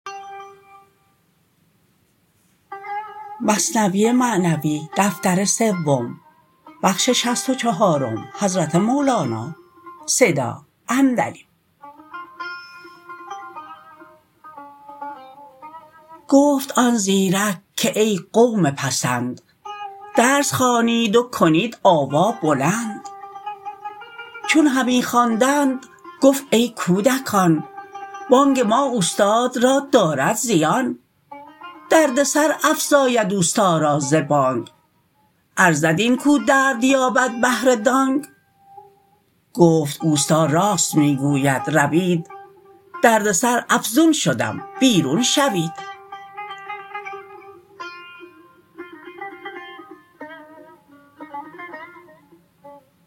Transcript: گفت آن زیرک که ای قوم پسند درس خوانید و کنید آوا بلند چون همی خواندند گفت ای کودکان بانگ ما استاد را دارد زیان درد سر افزاید استا را ز بانگ ارزد این کو درد یابد بهر دانگ گفت استا راست می گوید روید درد سر افزون شدم بیرون شوید